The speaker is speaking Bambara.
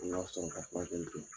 An ga sɔrɔ ka furakɛli kɛ.